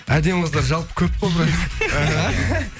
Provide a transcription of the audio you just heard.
әдемі қыздар жалпы көп қой брат аха